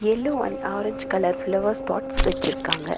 எல்லா and orange colour flowers pots வெச்சிருக்காங்க.